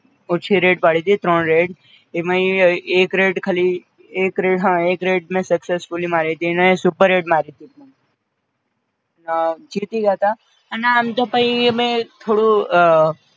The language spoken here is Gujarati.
ઓછી red પાડીતી, ત્રણ red એમાંય એક red ખાલી એક red હાં એક red મેં successfully અને superhit મારીતી, અ જીતી ગ્યાંતા અને આમ તો પઈ અમે થોડું